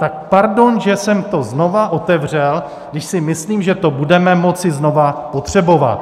Tak pardon, že jsem to znova otevřel, když si myslím, že to budeme moci znova potřebovat.